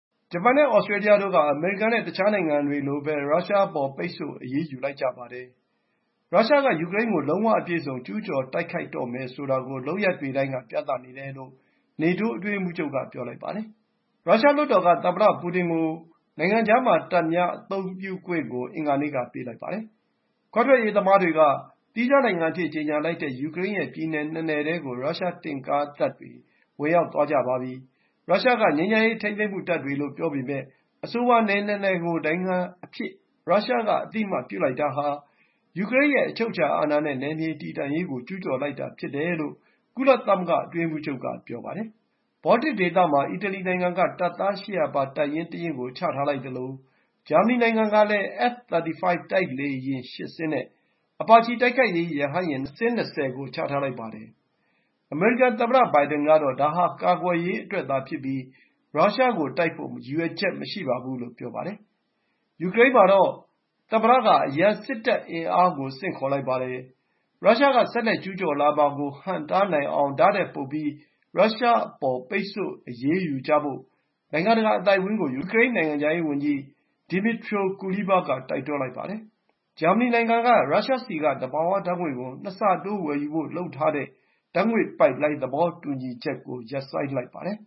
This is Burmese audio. ဂျပန်နဲ့ သြစတြေးလျတို့က အမေရိကန်နဲ့ တခြားနိုင်ငံတွေလိုပဲ ရုရှားအပေါ် ပိတ်ဆို့အရေးယူလိုက်ပါတယ်။ ရုရှားက ယူကရိန်းကို လုံးဝ အပြည့်အစုံ ကျူးကျော်တိုက်ခိုက်တော့မယ်ဆိုတာကို လုပ်ရပ်တွေတိုင်းက ပြနေတယ်လို့ နေတိုး အတွင်းရေးမှူးချုပ်က ပြောလိုက်ပါတယ်။ ရုရှားလွှတ်တော်က သမ္မတပူတင်ကို နိုင်ငံခြားမှာ တပ်များအသုံးပြုခွင့်ကို အင်္ဂါနေ့က ပေးလိုက်ပါတယ်။ ခွဲထွက်ရေး သမားတွေက သီးခြားနိုင်ငံအဖြစ်ကြေညာလိုက်တဲ့ ယူကရိန်းရဲ့ပြည်နယ် ၂ နယ်ထဲကို ရုရှားတင့်ကားတွေ ဝင်ရောက် သွားကြပါတယ်။ ရုရှားက ငြိမ်းချမ်းရေးထိန်းသိမ်းမှုတပ်တွေလို့ ပြောပေမယ့် အဆိုပါ နယ် ၂ နယ်ကို နိုင်ငံအဖြစ် ရုရှား က အသိအမှတ်ပြုလိုက်တာဟာ ယူကရိန်းရဲ့အချုပ်အခြာအာဏာနဲ့ နယ်မြေတည်တံ့ရေးကို ကျူးကျော်လိုက်တာ ဖြစ်တယ်လို့ ကုလသမဂ္ဂအတွင်းရေးမှူးချုပ်က ပြောပါတယ်။ ဘောလ်တစ် ဒေသမှာ အီတလီနိုင်ငံက တပ်သား ၈၀၀ ပါ တပ်ရင်းတရင်းကို ချထားလိုက်သလို ဂျာမနီနိုင်ငံကလည်း F-35 တိုက်လေယာဉ် ၈ စင်းနဲ့ Apache တိုက်ခိုက်ရေး ရဟတ်ယာဉ် ၂၀ စင်းကို ချထားလိုက်ပါတယ်။ အမေရိကန် သမ္မတဘိုင်ဒင်ကတော့ ဒါဟာ ကာကွယ်ရေးအတွက်သာဖြစ်ပြီး ရုရှားကိုတိုက်ဖို့ ရည်ရွယ်ချက်မရှိဘူးလို့ ဆိုပါတယ်။ ယူကရိန်းမှာတော့ သမ္မတက အရံ စစ်တပ်အင်အားကို ဆင့်ခေါ်လိုက်ပါတယ်။ ရုရှားက ဆက်လက် ကျူးကျော်လာမှာကို ဟန့်နိုင်အောင် ဒါ့ထက်ပိုပြီး ရုရှားအပေါ် ပိတ်ဆို့အရေးယူကြဖို့ နိုင်ငံတကာအသိုက်အဝန်းကို ယူကရိန်း နိုင်ငံခြားရေး ဝန်ကြီး Dmytro Kuleba က တိုက်တွန်းလိုက်ပါတယ်။ ဂျာမနီနိုင်ငံက ရုရှားဆီက သဘာဝဓာတ်ငွေ့ကို ၂ ဆတိုး ဝယ်ယူဖို့လုပ်ထားတဲ့ ဓာတ်ငွေ့ပိုက်လိုင်း သဘောတူညီချက် ကို ရပ်လိုက်ပါတယ်